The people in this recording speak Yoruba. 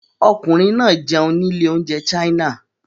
Ọkùnrin náà jẹun ní ilé-oúnjẹ China.